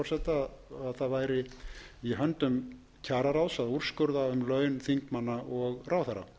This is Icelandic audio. að það væri í höndum kjararáðs að úrskurða um laun þingmanna og ráðherra